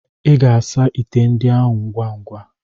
Ị ga-asa ite ndị ahụ ngwa ngwa.